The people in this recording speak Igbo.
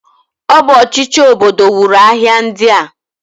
O bu ochichi obodo nwuru ahia ndia.